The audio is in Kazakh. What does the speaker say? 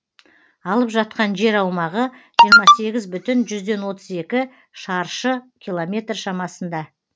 алып жатқан жер аумағы жиырма сегіз бүтін жүзден отыз екі шаршы километр шамасында